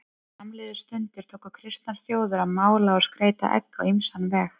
Er fram liðu stundir tóku kristnar þjóðir að mála og skreyta egg á ýmsan veg.